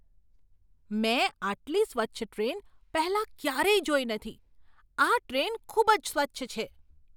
મેં આટલી સ્વચ્છ ટ્રેન પહેલાં ક્યારેય જોઈ નથી! આ ટ્રેન ખૂબ જ સ્વચ્છ છે!